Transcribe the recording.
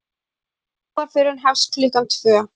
Jarðarförin hefst klukkan tvö.